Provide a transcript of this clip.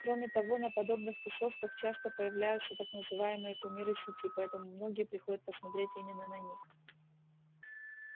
кроме того на подобных тусовках часто появляются так называемые кумиры сети поэтому многие приходят посмотреть именно на них